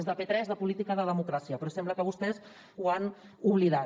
és de p tres de política de democràcia però sembla que vostès ho han oblidat